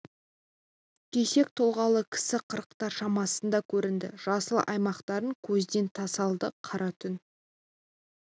кесек тұлғалы кісі қырықтар шамасында көрінді жасыл аймақтарды көзден тасалады қара түн